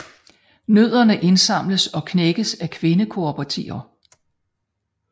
Nødderne indsamles og knækkes af kvinde kooperativer